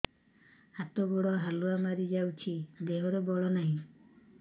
ହାତ ଗୋଡ଼ କାଲୁଆ ମାରି ଯାଉଛି ଦେହରେ ବଳ ନାହିଁ